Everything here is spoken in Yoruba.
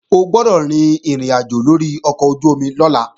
O gbọ́dọ̀ rin ìrìnàjò lórí ọkọ̀ ojú-omi lọ́la!